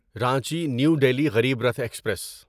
Ranchi new Delhi Garib Rath express